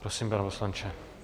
Prosím, pane poslanče.